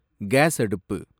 case அடுப்பு